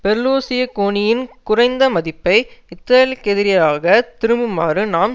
பெர்லுசிகோனியின் குறைந்த மதிப்பை இத்தலிக்கெதிராக திரும்புமாறு நாம்